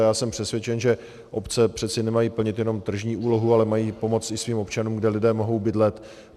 A já jsem přesvědčen, že obce přeci nemají plnit jenom tržní úlohu, ale mají pomoci i svým občanům, kde lidé mohou bydlet.